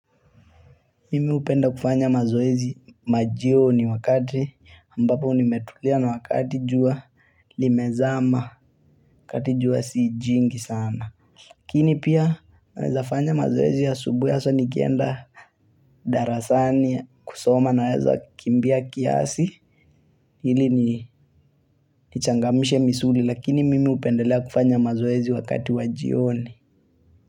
Mimi hupenda kufanya mazoezi majioni, wakati ambapo nimetulia na wakati jua limezama kati jua sii jingi sana. Lakini pia naweza fanya mazoezi ya asubuhi hasa nikienda darasani kusoma, naweza kimbia kiasi ilini nichangamishe misuli, lakini mimi hupendelea kufanya mazoezi wakati wa jioni.